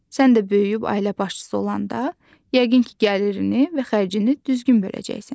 Sən də böyüyüb ailə başçısı olanda, yəqin ki, gəlirini və xərcini düzgün böləcəksən.